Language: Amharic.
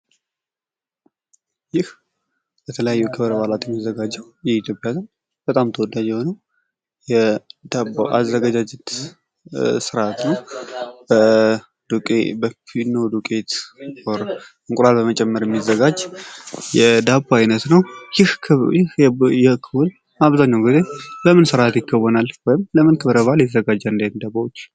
ይህ የተለያዩ ክብረ በዓላት የሚዘጋጀዉ የኢትዮጵያዉያይ በጣም ተወዳጅ የሆነዉ የዳቦ አዘገጃጀት አይነት ነዉ። ይህ ዳቦ ለምን ክብረ በዓል ይዘጋጃል?